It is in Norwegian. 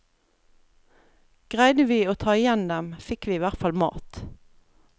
Greide vi å ta igjen dem, fikk vi i hvert fall mat.